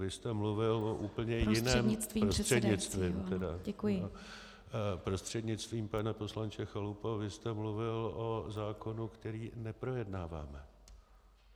Vy jste mluvil o úplně jiném - Prostřednictvím teda, prostřednictvím, pane poslanče Chalupo, vy jste mluvil o zákonu, který neprojednáváme.